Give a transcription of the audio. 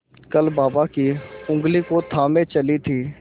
कल बाबा की ऊँगली को थामे चली थी